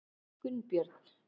Gunnbjörn